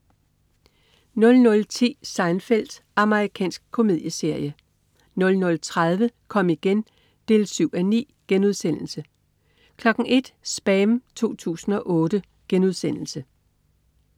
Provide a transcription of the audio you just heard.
00.10 Seinfeld. Amerikansk komedieserie 00.30 Kom igen 7:9* 01.00 SPAM 2008*